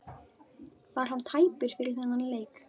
Var hann tæpur fyrir þennan leik?